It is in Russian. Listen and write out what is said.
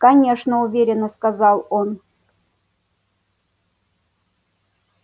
конечно уверенно сказал он